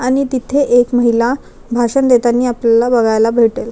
आणि तिथे एक महिला भाषण देतांनी आपल्याला बघायला भेटेल.